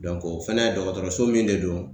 o fɛnɛ dɔgɔtɔrɔso min de do